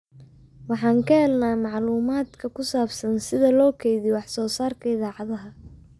Waxaan ka helnaa macluumaadka ku saabsan sida loo kaydiyo wax soo saarkayada idaacadaha.